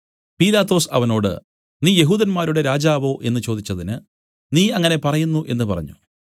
പീലാത്തോസ് അവനോട് നീ യെഹൂദന്മാരുടെ രാജാവോ എന്നു ചോദിച്ചതിന് നീ അങ്ങനെ പറയുന്നു എന്നു പറഞ്ഞു